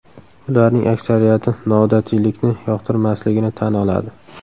Ularning aksariyati noodatiylikni yoqtirmasligini tan oladi.